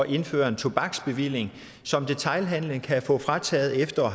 indføre en tobaksbevilling som detailhandelen kan få frataget efter